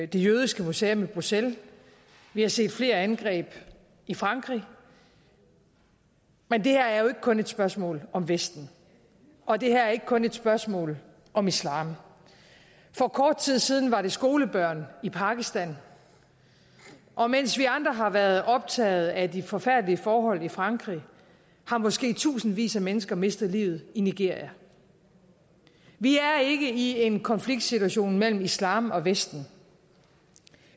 det jødiske museum i bruxelles vi har set flere angreb i frankrig men det her er jo ikke kun et spørgsmål om vesten og det her er ikke kun et spørgsmål om islam for kort tid siden var det skolebørn i pakistan og mens vi andre har været optaget af de forfærdelige forhold i frankrig har måske tusindvis af mennesker mistet livet i nigeria vi er ikke i en konfliktsituation mellem islam og vesten